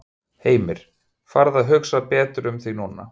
Heimir: Fara að hugsa betur um þig núna?